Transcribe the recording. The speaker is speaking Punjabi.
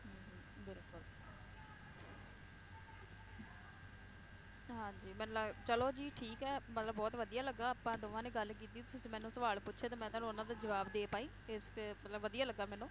ਹਾਂਜੀ ਮੈਨੂੰ ਲੱਗ~ ਚਲੋ ਜੀ ਠੀਕ ਹੈ ਮਤਲਬ ਬਹੁਤ ਵਧੀਆ ਲੱਗਾ ਆਪਾਂ ਦੋਵਾਂ ਨੇ ਗੱਲ ਕੀਤੀ ਤੁਸੀਂ ਮੈਨੂੰ ਸਵਾਲ ਪੁੱਛੇ ਤੇ ਮੈ ਤੁਹਾਨੂੰ ਉਹਨਾਂ ਦਾ ਜਵਾਬ ਦੇ ਪਾਈ ਇਸ ਤੇ ਮਤਲਬ ਵਧੀਆ ਲੱਗਾ ਮੈਨੂੰ